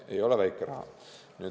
See ei ole väike raha.